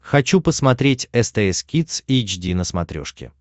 хочу посмотреть стс кидс эйч ди на смотрешке